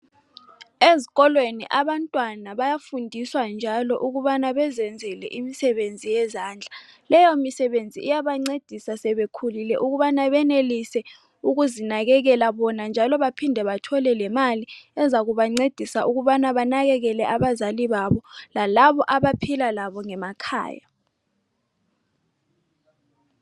Ezikolweni abantwana bayafundiswa njalo ukubana bezenzele imisebenzi yezandla leyo misebenzi iyabancedisa sebekhulile ukubana benelise ukuzinakekela bona njalo baphinde bathole lemali ezakubancedisa ukubana banakekele abazali babo lalabo abaphila labo emakhaya.